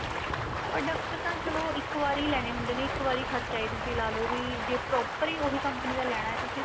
product ਤਾਂ ਚਲੋ ਇੱਕ ਵਾਰੀ ਲੈਣੇ ਹੁੰਦੇ ਨੇ ਇੱਕ ਵਾਰੀ ਖ਼ਰਚਾ ਤੁਸੀਂ ਲਾ ਲੋ ਵੀ ਜੇ proper ਈ ਉਹੀ company ਦਾ ਲੈਣਾ ਤੁਸੀਂ